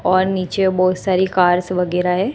और नीचे बहुत सारी कार्स वगैरह है।